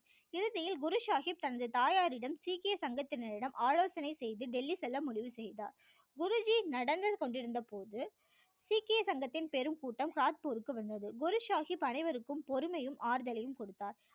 இறுதியில் குரு சாகிப் தனது தாயாரிடம் சீக்கிய சங்கத்தினரிடம் ஆலோசனை செய்து டெல்லி செல்ல முடிவு செய்தார் குரு ஜி நடந்து கொண்டிருந்த போது சீக்கிய சங்கத்தின் பெரும் கூட்டம் காத்பூருக்கு வந்தது குரு சாகிப் அனைவருக்கும் பொறுமையும் ஆறுதலையும் கொடுத்தார்